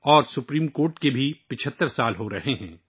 اور supreme court کو بھی 75 سال مکمل ہو رہے ہیں